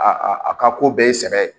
A a ka ko bɛɛ ye sɛbɛ ye